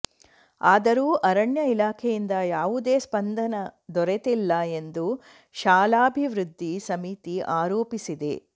ಆದರೂ ಅರಣ್ಯ ಇಲಾಖೆಯಿಂದ ಯಾವುದೇ ಸ್ಪಂದನೆ ದೊರೆತಿಲ್ಲ ಎಂದು ಶಾಲಾಭಿವೃದ್ಧಿ ಸಮಿತಿ ಆರೋಪಿಸಿದೆ